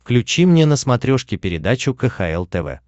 включи мне на смотрешке передачу кхл тв